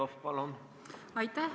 Aitäh!